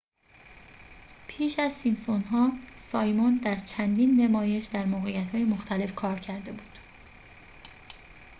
پیش از سیمپسون‌ها سایمون در چندین نمایش در موقعیت‌های مختلف کار کرده بود